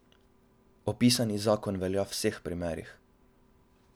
Opisani zakon velja v vseh primerih.